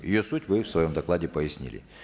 ее суть вы в своем докладе пояснили